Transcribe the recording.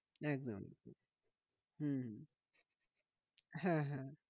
একদম হম হ্যাঁ হ্যাঁ